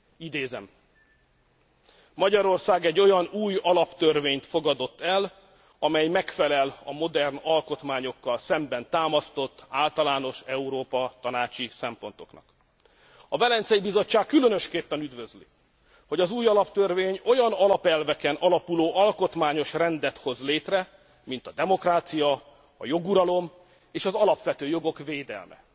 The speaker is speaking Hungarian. Idézem Magyarország egy olyan új alaptörvényt fogadott el, amely megfelel a modern alkotmányokkal szemben támasztott általános Európa tanácsi szempontoknak. A Velencei Bizottság különösképpen üdvözli, hogy az új alaptörvény olyan alapelveken alapuló alkotmányos rendet hoz létre, mint a demokrácia, a joguralom és az alapvető jogok védelme.